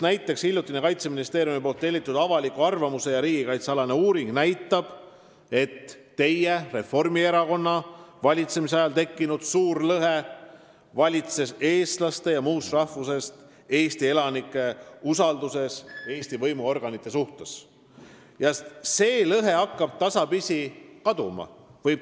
Näiteks hiljutine Kaitseministeeriumi tellitud avaliku arvamuse ja riigikaitse alane uuring näitab, et teie, Reformierakonna valitsemise ajal tekkinud suur lõhe, mis valitses eestlaste ja muust rahvusest Eesti elanike usalduses Eesti võimuorganite suhtes, hakkab tasapisi kaduma.